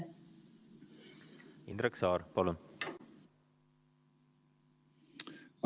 Indrek Saar, palun!